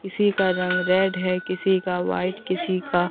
किसी का रंग रेड है किसी का व्हाइट किसी का--